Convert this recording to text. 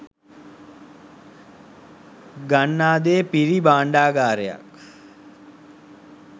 ගන්නා දේ පිරි භාණ්ඩාගාරයක්